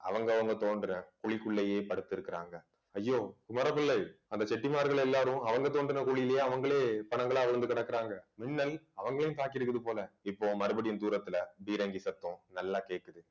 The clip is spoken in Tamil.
அவங்கவங்க தோன்ற குழிக்குள்ளேயே படுத்துருக்குறாங்க ஐயோ குமரபிள்ளை அந்த செட்டிமார்கள் எல்லாரும் அவங்க தோண்டின குழியிலேயே அவங்களே பிணங்களா விழுந்து கிடக்குறாங்க மின்னல் அவங்களையும் தாக்கி இருக்குது போல இப்போ மறுபடியும் தூரத்துல பீரங்கி சத்தம் நல்லா கேக்குது